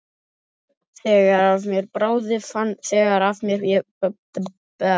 Þegar af mér bráði fann ég einhverja afsökun.